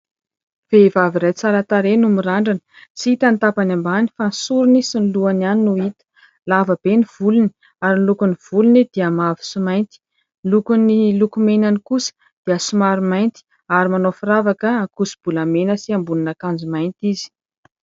Vehivavy iray tsara tarehy no mirandrana. Tsy hita ny tapany ambany fa ny sorony sy ny lohany ihany no hita. Lava be ny volony ary no lokon'ny volony dia mavo sy mainty ; ny lokon'ny lokomenany kosa dia somary mainty ary manao firavaka ankoso-bolamena sy ambonin'akanjo mainty izy.